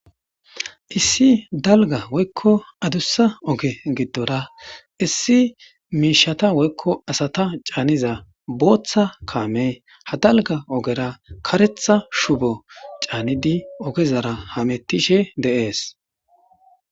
issi dalga woykko adussa oge giddora issi miishata woykko asata caaniza booththa kaame ha dalga ogera karetha shubo caanidi ogezara hamettishe deees